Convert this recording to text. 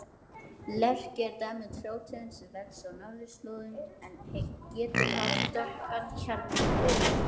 Lerki er dæmi um trjátegund sem vex á norðurslóðum en getur haft dökkan kjarnvið.